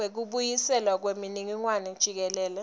kubuyiselwa kwemininingwane jikelele